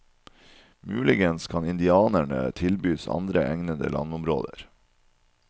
Muligens kan indianerne tilbys andre egnede landområder.